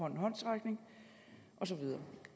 af håndsrækninger og så videre